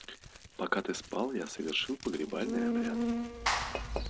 пока ты спал я совершил погребальный обряд